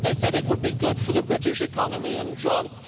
They said it would be good for the British economy and jobs.